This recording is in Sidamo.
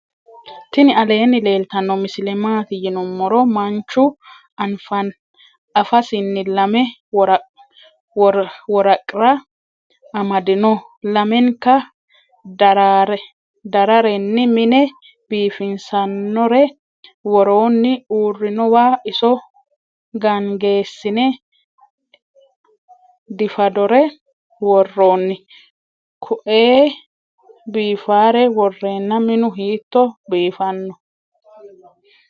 tinni aleni leeltano misile maati yinumoro. manchu anfasinni lame woraqra ammadino .lamenka darareni mine bifisanore woronni. uurinowano iso gaangesine difadore woronni. kuei bifare worena minu hito bifano.